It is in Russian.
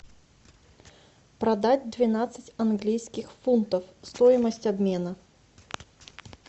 продать двенадцать английских фунтов стоимость обмена